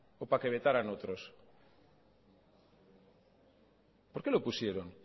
o para que vetaran otros por qué lo pusieron